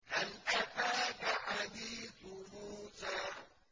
هَلْ أَتَاكَ حَدِيثُ مُوسَىٰ